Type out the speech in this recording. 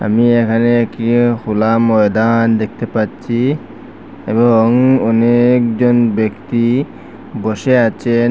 আমি এখানে একি হোলা ময়দান দেখতে পাচ্চি এবং অনেকজন ব্যক্তি বসে আচেন।